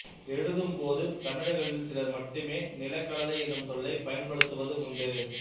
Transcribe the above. எழுதும் போது தமிழர்களில் சிலர் மட்டுமே நிலக்கடலை எனும் சொல்லைப் பயன்படுத்துவது உண்டு